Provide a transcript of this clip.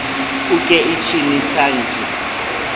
uke ichi ni san ji